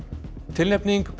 tilnefning